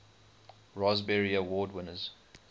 raspberry award winners